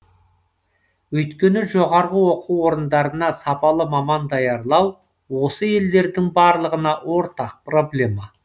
өйткені жоғары оқу орындарына сапалы маман даярлау осы елдердің барлығына ортақ проблема